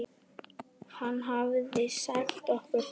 Hann hafði sagt okkur það.